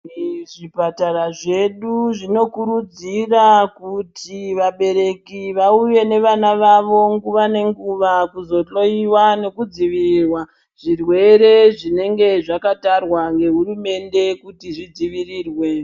Zvipatara zvedu zvinokurudzira kuti vabereki auye nevana vavo nguva nenguva kuzohloyiwa nekudzivirirwa zvirwere zvinenge zvakatarwa nehurumende kuti zvidzivirirwe.